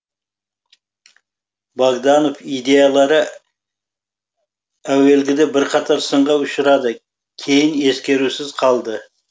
богданов идеялары әуелгіде бірқатар сынға ұшырады кейін ескерусіз қалды